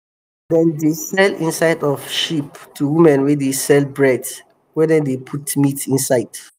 dem dey um sell inside of sheep to women wey dey sell um bread wey dem dey put meat inside